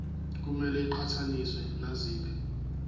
kumele iqhathaniswe naziphi